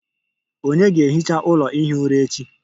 Ònye ga-ehicha ụlọ ihi ụra echi?